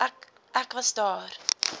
ek was daar